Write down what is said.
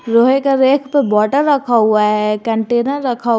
लोहे का रैक पे बोतल रखा हुआ है कंटेनर रखा--